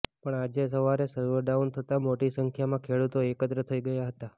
પણ આજે સવારે સર્વર ડાઉન થતા મોટી સંખ્યામાં ખેડૂતો એકત્ર થઈ ગયા હતા